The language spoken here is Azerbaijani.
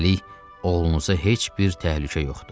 Hələlik oğlunuza heç bir təhlükə yoxdur.